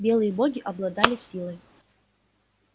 белые боги обладали силой